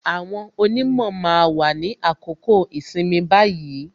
Àwọn onimo máa wà ní àkókò ìsinmi báyìí